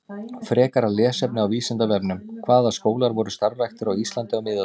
Frekara lesefni á Vísindavefnum: Hvaða skólar voru starfræktir á Íslandi á miðöldum?